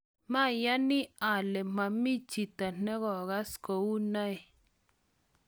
mayani ale mami chito ne kokas kou noe